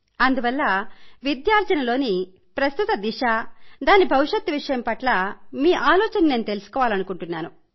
అందువల్ల విద్యార్జనలోని ప్రస్తుత దిశ దాని భవిష్యత్తు విషయమై మీ ఆలోచనను తెలుసుకోవాలనుకుంటున్నాను